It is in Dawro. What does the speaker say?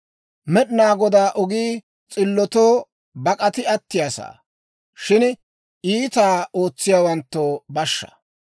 Med'inaa Godaa ogii s'illotoo bak'ati attiyaa sa'aa; shin iitaa ootsiyaawanttoo bashshaa.